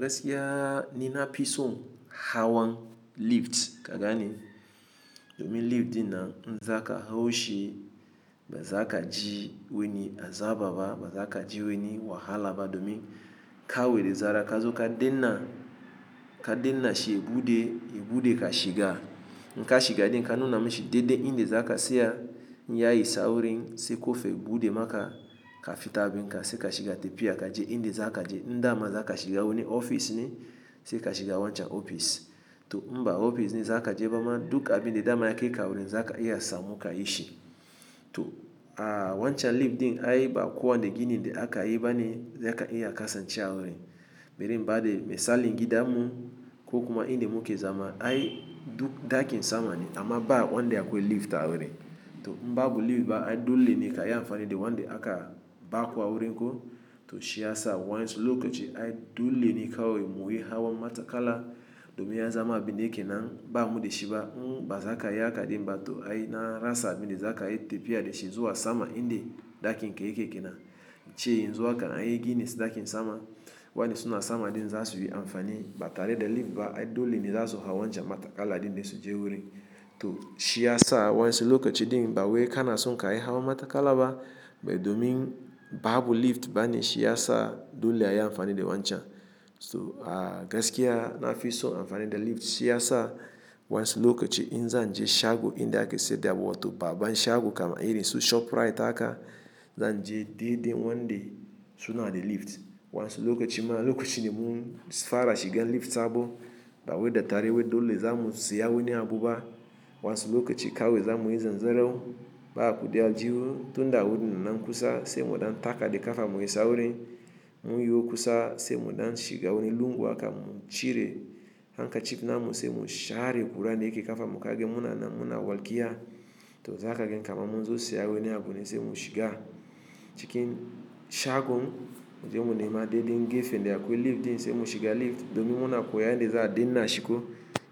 Gaskiya ni na fison hawan lifta kagane, domin lift dinnan zaka haushi bazaka ji wani azaba ba bazakaa ji weni wahalaba domi, kawai da zaran kazo ka danna, ka dinna shi ya bude, ya bude ka shiga. Nka shiga din ka nuna mishi dede inde zaka se yaa, nyaayi sawurin se kofe gude maka kafitaabi nka se ka shiga tepia ka je inde zaka je ndama zaka shiga weni ofis ni se ka shiga wancha ofis. To inba ofis ni zaka je ba ma duk abin da dama ya kaika a wurin zaka iya samu ka yishi. To a wancha lift din aiba kuwanne ginin da akayi bane zaka iya kasancewa a wurin. Bari in bada misali gidanmu ko kuma inde muke zama ai duk dakin sama ne amma ba wande akwai lift a wurin. To mba babu lift baa ai dole ni ka iya amfani de wande aka ba kuwaa wurin ko to shiya saa waansu lokaci ai dole ni ka aweri muwi hawan matakala domi ya zama aabi neeke na baamu de shiba mba zaka iya aka din ba to ai na rasa aabi ni zaka ai tepia de shi zuwa sama inde dakiin keeke ke na. Chee yanzu in anyi gini se dakiin sama, wanda suna sama din za su yi amfani ba tare da lift ba ai dole ni za su hawan ja matakala din de su je wurin. To shiya saa waansu lokaci din ba we kanaa so ka ai hawan matakala ba, be domi ba abu lift ba ni shiya saa dole ya iya amfani de wancha. So aa gaskiya na fison amfani da lift shiya saa waansu lokaci in zan je shago inde ake seda wa to baaban shago kama iri su ShopRite aka, zan je deedee wande suna da lift. Wa ansu lokaci ma lokaci ne mu fara shigan lift sabo, ba we da tare we dole za mu siya weni abu ba. Wa ansu lokaci kawe za mu yi zanzarau baa kudi aljihu tun daa wudi na nan kusa se mudaan taka de kafa mu yi sawurin. Mu yiwo kusa se mudaan shiga weni lungu aka mu cire hanka chip na mu se mu shaari gura neeke kafa mukaage muna na muna walkiya. To zaa kagen kama mu zo siya weni abu ni se mu shiga. Chikin shagon mu je mu nema deedee ngefe inde akwai lift din se mu shiga lift domi muna kuya inde zaa dinna shiko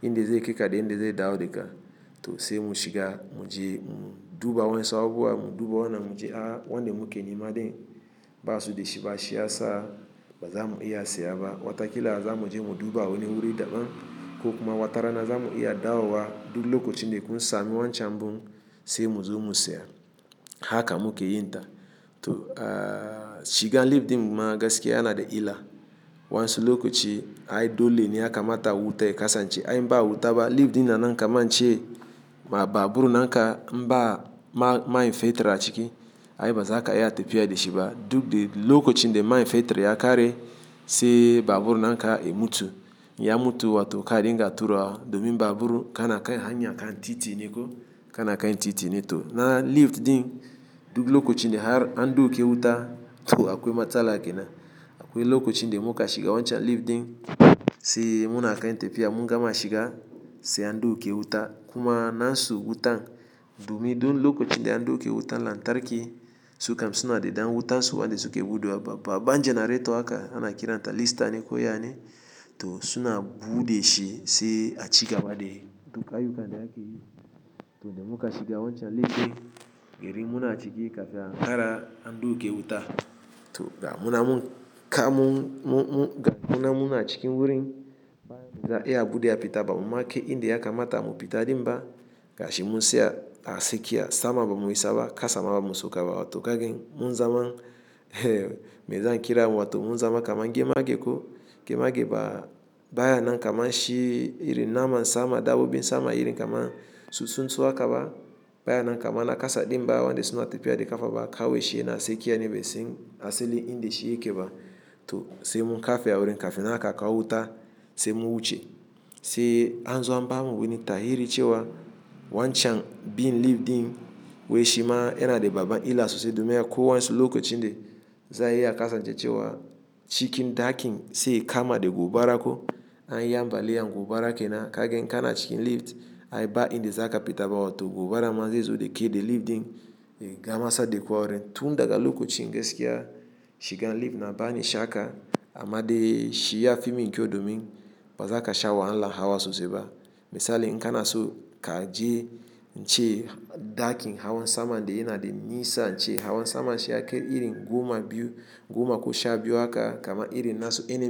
inde zai keke de inde zai dawo de ka. To se mu shiga mu je mu duba waansu abu a mu duba wana mu je aa wande muke nimadi basu de shiba shiya saa ba za mu iya siya ba. Watakilaa za mu je mu duba weni wurin daɓan ko kuma watarana za mu iya dawo wa duk lokaci ne kun sami wancha mbun se mu zo mu siya. Haka muke yin ta. To aa shigan lift din ma gaskiya yaana da ila. Waansu lokaci ai dole ni yaka mata wuta e kasa nchi ai mbaa wuta ba lift dinaa na nka ma nchee ma baaburu na nka mbaa ma main fetira chiki ai ba zaka iya tepia de shiba duk de lokaci inde main fetira ya kare se baaburu na nka e mutu. Ya mutu wa to kaadinga tura domi baaburu kanaa kai hanyan kan titi niiko kanaa kai titi ni. To na lift din duk lokaci inde har anduuke wuta to akwai matala ke na. Akwai lokaci inde muka shiga wancha lift din se muna kai tepia mu gama shiga se anduuke wuta kuma naansu wutan domi dun lokaci inde anduuke wutan laantarki su kam suna de daan wuta su wande suke buudewa ba. Baaban generator aka ana kiranta listani ko yaani to suna buude shi se a chiga bade to kaayu kaande ake yi. To inde muka shiga wancha lift e iri muna chiki kafe hara anduuke wuta. To ga muna mu ka mu ga muna muna chiki wurin baa ni zaa iya abu de ya pita ba mu make inde aka mata mu pita din ba. Gashi mu siya baa seke yaa sama ba mu yi saba ka sama ba mu saukawa wa to kagen mu zama me zan kira mu wa to mu zama kama ngemaage ko ngemaage ba baya na nka ma shi iri nama sama daa bubu in sama iri kama susu nso aka ba baya na nka ma na kasa din ba wande suna tepia de kafa ba kawe shi yanaa seke yaani be si asili inde shi yake ba to se mu kafe a wurin kafe na aka kawuta se mu wuce. Se anzo baamu weni ta hiri chewa wancha biin lift din we shi ma yana da baaban ila suse domi ya kuwaa waansu lokaci inde zaa iya kasa nche chewa chikin dakiin se kama de guubara ko ai yaambaliyang guubara ke na kagen kanaa chikin lift ai ba inde zaka pita ba wa to guubara ma zai zo de kee de lift din e gama sa de kuwaa wurin. Tun daga lokaci gas ke yaa shigan lift na baani shaka ama de shiyaa fiming ke o domi ba zaka sha wahala hawa suse ba. Misali nka na so ka je nche dakiin hawan sama inde yana de nisa nche hawan sama shi yake iri guuma biyu guuma ko sha biyu aka kama iri na su enem.